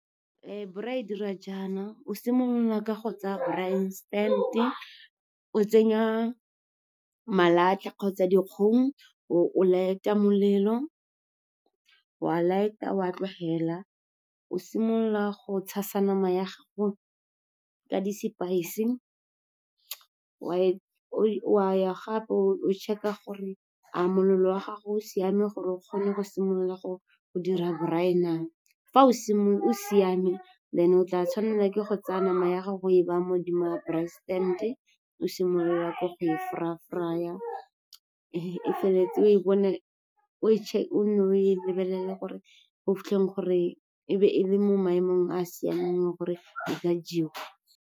Braai e dira jaana, o simolola ka go tsaya braai stand-e, o tsenya malatlha kgotsa dikgong, o light-a molelo, wa light-a, wa tlogela. O simolola go tshasa nama ya gago ka di-spice, wa ya gape o check-a gore a molelo wa gago o siame gore o kgone go simolola go dira braai na. Fa o siame, then o tla tshwanela ke go tsaya nama ya gago o e baya modimo ga braai stand-e, o simolola ka go fry-a-fry-a. O nne o e lebelele go fitlheng gore e be e le mo maemong a a siameng gore e ka jewa.